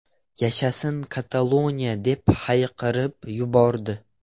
Yashasin Kataloniya!”, deb hayqirib yubordi.